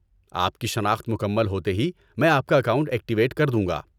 آپ کی شناخت مکمل ہوتے ہی میں آپ کا اکاؤنٹ ایکٹیویٹ کر دوں گا۔